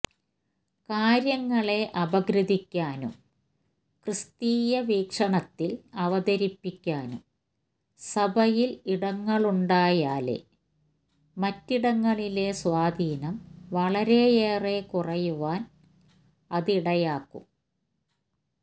കാര്യങ്ങളെ അപഗ്രഥിക്കാനും ക്രിസ്തീയ വീക്ഷണത്തില് അവതരിപ്പിക്കാനും സഭയില് ഇടങ്ങളുണ്ടായാല് മറ്റിടങ്ങളിലെ സ്വാധീനം വളരെയേറെ കുറയുവാന് അതിടയാക്കും